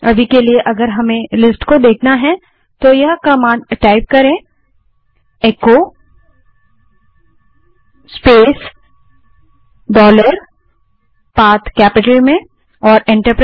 अभी के लिए यदि हमें इस लिस्ट को देखना है तो केवल echo space dollar path command type करें